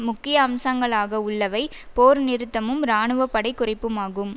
முக்கிய அம்சங்களாக உள்ளவை போர் நிறுத்தமும் இராணுவ படை குறைப்புமாகும்